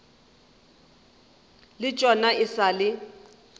le tšona e sa le